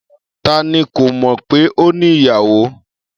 Ta ni kò mọ̀ pé o ní ìyàwò?